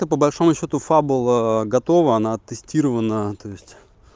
то по большому счету фабула готова она тестирована то есть